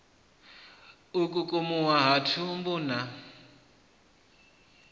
u kukumuwa ha thumbu na